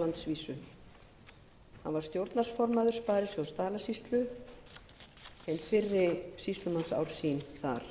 landsvísu hann var stjórnarformaður sparisjóðs dalasýslu hin fyrri sýslumannsár sín þar